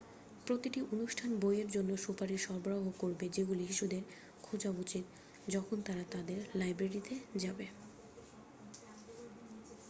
প্রতিটি অনুষ্ঠান বইয়ের জন্য সুপারিশ সরবরাহও করবে যেগুলি শিশুদের খোঁজা উচিত যখন তারা তাদের লাইব্রেরিতে যাবে